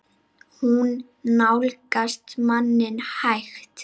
Hún nálgast manninn hægt.